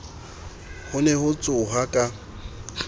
ho ne ho tsohwa ka